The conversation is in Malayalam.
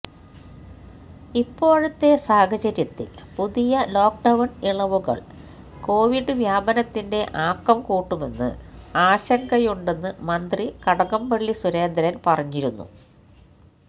ഇപ്പോഴത്തെ സാഹചര്യത്തിൽ പുതിയ ലോക്ക്ഡൌൺ ഇളവുകൾ കൊവിഡ് വ്യാപനത്തിന്റെ ആക്കം കൂട്ടുമെന്ന് ആശങ്കയുണ്ടെന്ന് മന്ത്രി കടകംപള്ളി സുരേന്ദ്രൻ പറഞ്ഞിരുന്നു